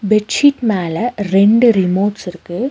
Bedsheet மேல ரெண்டு remotes இருக்கு.